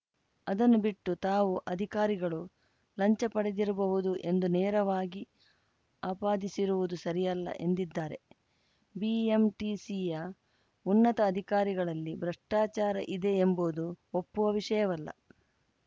ಅದನ್ನು ಬಿಟ್ಟು ತಾವು ಅಧಿಕಾರಿಗಳು ಲಂಚ ಪಡೆದಿರಬಹುದು ಎಂದು ನೇರವಾಗಿ ಆಪಾದಿಸಿರುವುದು ಸರಿಯಲ್ಲ ಎಂದಿದ್ದಾರೆ ಬಿಎಂಟಿಸಿಯ ಉನ್ನತ ಅಧಿಕಾರಿಗಳಲ್ಲಿ ಭ್ರಷ್ಟಾಚಾರ ಇದೆ ಎಂಬುವುದು ಒಪ್ಪುವ ವಿಷಯವಲ್ಲ